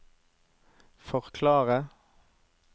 forklare